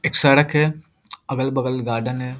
एक सड़क है अगल-बगल गार्डेन है।